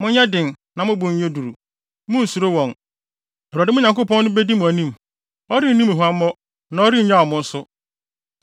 Monyɛ den na mo bo nyɛ duru! Munnsuro wɔn! Awurade, mo Nyankopɔn no, bedi mo anim. Ɔrenni mo huammɔ na ɔrennyaw mo nso.”